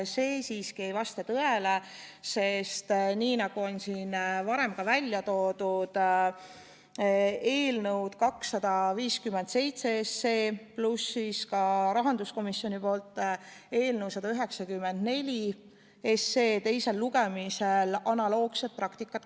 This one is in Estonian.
See siiski ei vasta tõele, sest nii nagu siin varemgi on välja toodud, kasutati ka eelnõu 257 ja rahanduskomisjoni eelnõu 194 teisel lugemisel analoogset praktikat.